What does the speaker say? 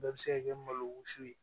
Bɛɛ bɛ se ka kɛ malo si ye